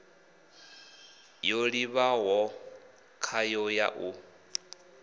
yo livhiwaho khayo ya ḽu